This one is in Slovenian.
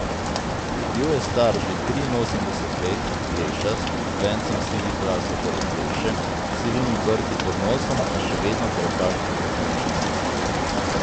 Bil je star že triinosemdeset let, plešast, z vencem sivih las okoli pleše, s sivimi brki pod nosom, a še vedno krepak in pokončen mož.